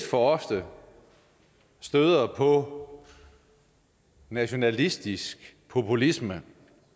for ofte støder på nationalistisk populisme